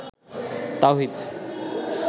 তাওহীদ